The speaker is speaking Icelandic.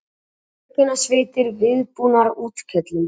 Björgunarsveitir viðbúnar útköllum